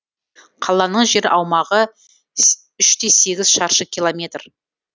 қаланың жер аумағы үш те сегіз шаршы километр